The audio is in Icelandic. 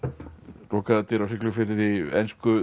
lokaðar dyr á Siglufirði á ensku